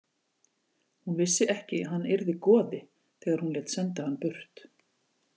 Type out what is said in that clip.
Hún vissi ekki að hann yrði goði þegar hún lét senda hann burt.